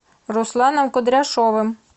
русланом кудряшовым